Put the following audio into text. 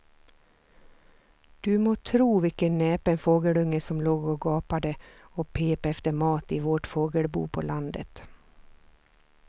Du må tro vilken näpen fågelunge som låg och gapade och pep efter mat i vårt fågelbo på landet.